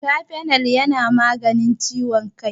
Kafenol yana magance ciwon kai